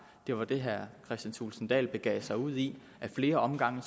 det var det herre kristian thulesen dahl begav sig ud i ad flere omgange